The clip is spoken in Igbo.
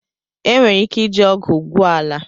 Enwere ike iji ọgụ gwue ala.